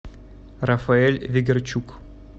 рафаэль вегерчук